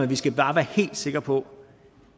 vi skal bare være helt sikre på